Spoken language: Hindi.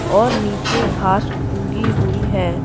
और नीचे घास उगी हुई है।